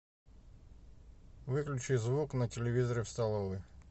выключи звук на телевизоре в столовой